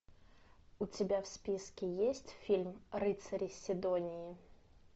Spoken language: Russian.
у тебя в списке есть фильм рыцари сидонии